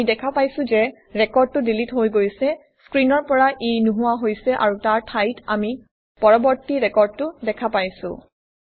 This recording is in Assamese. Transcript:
আমি দেখা পাইছোঁ যে ৰেকৰ্ডটো ডিলিট হৈ গৈছে স্ক্ৰীনৰ পৰা ই নোহোৱা হৈছে আৰু তাৰ ঠাইত আমি পৰৱৰ্তী ৰেকৰ্ডটো দেখা পাইছোঁ